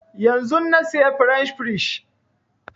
Yanzun na saya french fries